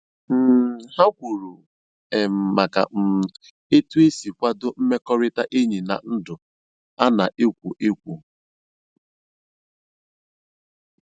um Ha kwuru um maka um e tu esi a kwado mmekọrịta enyi na ndụ a na-ekwo ekwo